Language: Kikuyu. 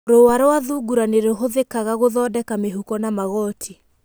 rũũa rwa thungura nĩ rũhũthĩkaga gũthondeka mĩhuko na magooti.